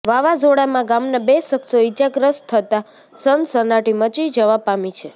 વાવાઝોડામાં ગામના બે શખ્સો ઈજાગ્રસ્ત થતા સનસનાટી મચી જવા પામી છે